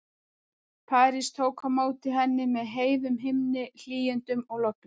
París tók á móti henni með heiðum himni, hlýindum og logni.